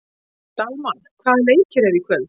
Dalmar, hvaða leikir eru í kvöld?